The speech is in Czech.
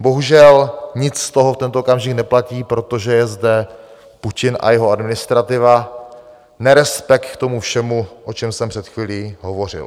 Bohužel, nic z toho v tento okamžik neplatí, protože je zde Putin a jeho administrativa, nerespekt k tomu všemu, o čem jsem před chvílí hovořil.